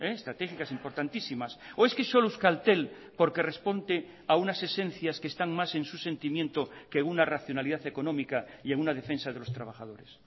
estratégicas importantísimas o es que solo euskaltel porque responde a unas esencias que están más en su sentimiento que una racionalidad económica y en una defensa de los trabajadores